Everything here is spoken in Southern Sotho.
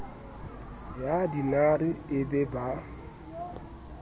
ya dinare e be ba